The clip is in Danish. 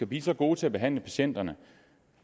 blive så gode til at behandle patienterne